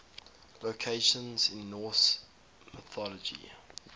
locations in norse mythology